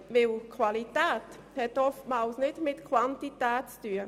Die Qualität hat nämlich oft nicht viel mit der Quantität zu tun.